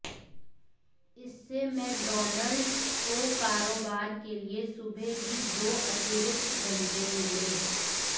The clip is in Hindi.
इससे मैकडॉनल्ड्स को कारोबार के लिए सुबह भी दो अतिरिक्त घंटे मिले